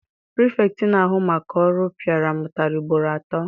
Pirifetktị na-ahụ maka ọrụ piara m ụtarị ugboro atọ.